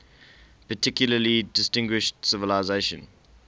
particularly distinguished civilization